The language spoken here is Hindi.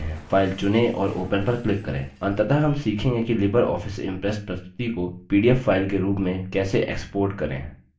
अंततः हम सीखेंगे कि लिबर ऑफिस impress प्रस्तुति को pdf फाइल के रूप में कैसे export करें